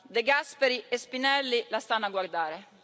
De Gasperi e Spinelli la stanno a guardare.